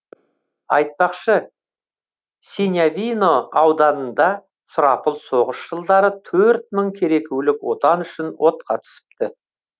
айтпақшы синявино ауданында сұрапыл соғыс жылдары төрт мың керекулік отан үшін отқа түсіпті